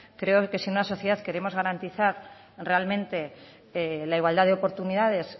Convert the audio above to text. creo en que si en una sociedad queremos garantizar realmente la igualdad de oportunidades